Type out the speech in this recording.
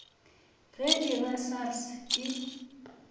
ge e ba sars e